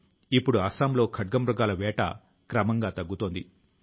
కానీ క్రమం గా ఇప్పుడు అడవుల్లో పక్షుల సంఖ్య తగ్గుముఖం పట్టింది